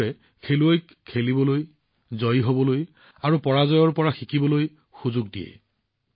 এইবোৰে খেলুৱৈক খেলাৰ জয়ী হোৱাৰ আৰু পৰাজয়ৰ পৰা শিকিবলৈ সুযোগ দিয়ে